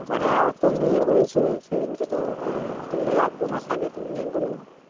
হ্যাঁ ওর তো মেয়ে হয়েছে সেদিনকে তো। ধরলে এক দু মাস আগে তো মেয়ে হলো।